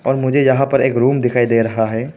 और मुझे यहां पर एक रूम दिखाई दे रहा है।